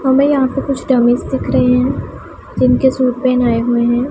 हमें यहां पे कुछ डमीज दिख रहे हैं जिन के सूट पेहनाएं हुए हैं।